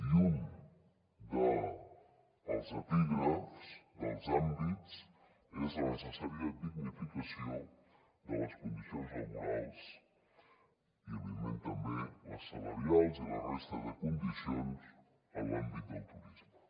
i un dels epígrafs dels àmbits és la necessària dignificació de les condicions laborals i evidentment també les salarials i la resta de condicions en l’àmbit del turisme